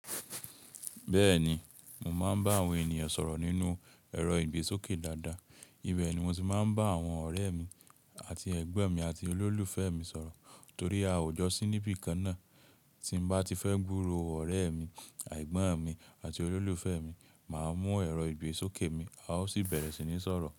Bẹ́ẹ̀ni, mo máa ń bá àwọn ènìyàn sọ̀rọ̀ nínú ẹ̀rọ ìgbésókè dáadáa. Ibẹ̀ ni mo ti máa ń bá àwọn ọ̀rẹ́ mi àti ẹ̀gbọ́n mi àti olólùfẹ́ mi sọ̀rọ̀ torí a ò jọ sí níbi kan náà. Tí n bá ti fẹ́ gburo ọ̀rẹ́ mi, ẹ̀gbọ́n mi àti olólùfẹ́ mi, màá mú ẹ̀rọ ìgbésókè mi, a ó sì bẹ̀rẹ̀ sí ní sọ̀rọ̀